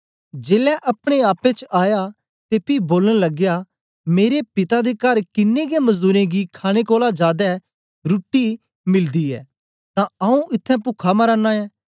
जेलै अपने आपे च आया ते पी बोलन लगया मेरे पिता दे कर किन्नें गै मजदूरें गी खाणे कोलां जादै रुट्टीरुट्टी मिलदी ऐ तां आऊँ इत्थैं पुखा मरा नां ऐं